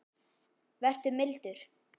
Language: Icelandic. Vertu mildur.